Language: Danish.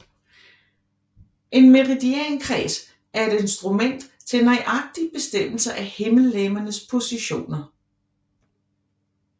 En meridiankreds er et instrument til nøjagtig bestemmelse af himmellegemernes positioner